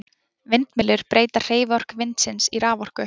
Vindmyllur breyta hreyfiorku vindsins í raforku.